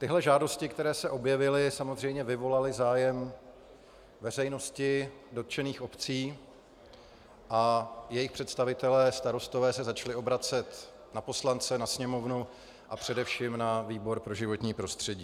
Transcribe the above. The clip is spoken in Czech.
Tyhle žádosti, které se objevily, samozřejmě vyvolaly zájem veřejnosti, dotčených obcí a jejich představitelé, starostové, se začali obracet na poslance, na Sněmovnu a především na výbor pro životní prostředí.